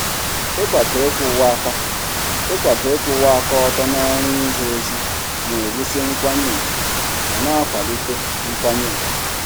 Ịkwado ịkwụwa aka ịkwụwa aka ọtọ n'ọrụ ije ozi na-ewusi nkwanye ùgwù ma na-akwalite nkwanye ùgwù.